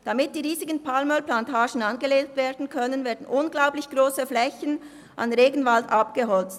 Damit die riesigen Palmölplantagen angelegt werden können, werden unglaublich grosse Flächen von Regenwald abgeholzt.